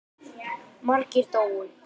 Margir dóu.